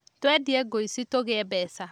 Twendie ngũici tũgĩe mbeca